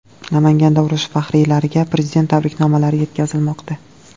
Namanganda urush faxriylariga Prezident tabriknomalari yetkazilmoqda.